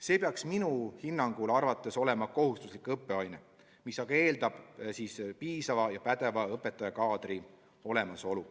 See peaks minu hinnangul olema kohustuslik õppeaine, mis aga eeldab piisava ja pädeva õpetajakaadri olemasolu.